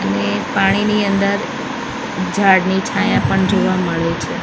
અને પાણીની અંદર ઝાડની છાયા પણ જોવા મળે છે.